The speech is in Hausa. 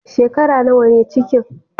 Shekara nawa ne ciki?